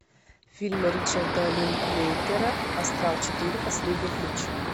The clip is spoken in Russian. фильм ричарда линклейтера астрал четыре последний ключ